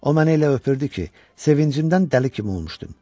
O məni elə öpürdü ki, sevincimdən dəli kimi olmuşdum.